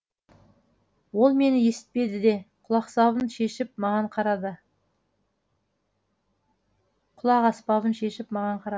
ол мені есітпеді ме шешіп маған қарады құлақаспабын шешіп маған қарады